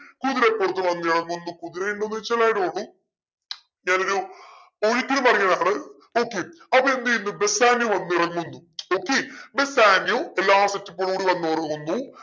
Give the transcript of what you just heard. കുതിരപ്പുറത്ത് വന്നിറങ്ങുന്നു കുതിരയിന്ന് ഞാനൊരു പറയുവാ നമ്മള് okay അപ്പൊ എന്തെയ്യുന്നു ബെസാനിയോ വന്നിറങ്ങുന്നു okay ബെസാനിയോ എല്ലാ set up ഓട് കൂടി വന്നിറങ്ങുന്നു